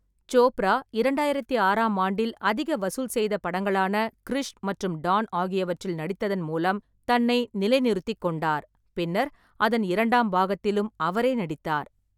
சோப்ரா இரண்டாயிரத்தி ஆறாம் ஆண்டில் அதிக வசூல் செய்த படங்களான கிரிஷ் மற்றும் டான் ஆகியவற்றில் நடித்ததன் மூலம் தன்னை நிலைநிறுத்திக் கொண்டார். பின்னர், அதன் இரண்டாம் பாகத்திலும் அவரே நடித்தார்.